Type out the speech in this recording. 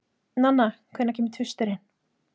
Nanna, hvenær kemur tvisturinn?